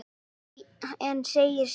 En segir síðan